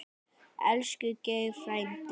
Elsku Geiri frændi.